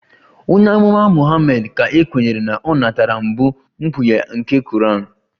Onye Amụma Muhammad ka e kweere na o natara mbụ mkpughe nke Koran